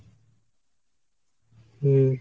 হুম।